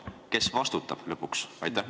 Kes lõpuks vastutab?